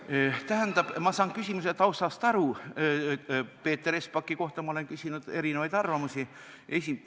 Ma saan küsimuse taustast aru, Peeter Espaki kohta olen ma küsinud erinevaid arvamusi.